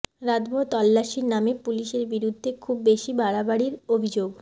রাতভর তল্লাসির নামে পুলিসের বিরুদ্ধে খুব বেশি বাড়াবাড়ির অভিযোগ